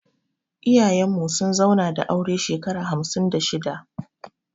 Iyayen mu sun zauna da aure shekara hamsin da shida